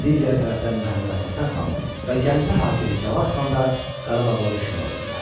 Digər tərəfdən Məhəmməd Həsən xan və Gəncə hakimi Cavad xan da Qarabağla düşmən oldular.